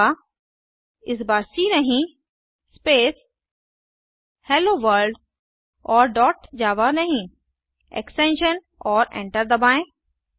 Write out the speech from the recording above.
जावा इस बार सी नहीं स्पेस हेलोवर्ल्ड और डॉट जावा नहीं एक्सटेंशन और एंटर दबाएँ